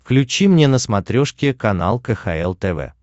включи мне на смотрешке канал кхл тв